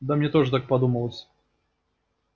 да мне тоже так подумалось